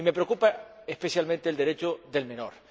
Y me preocupa especialmente el Derecho del menor.